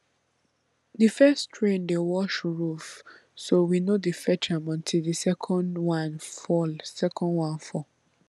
the first rain dey wash roof so we no dey fetch am until the second one fall second one fall